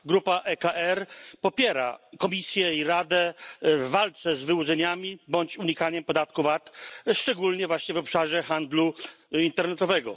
Grupa ECR popiera Komisję i Radę w walce z wyłudzeniami bądź unikaniem podatku VAT, szczególnie właśnie w obszarze handlu internetowego.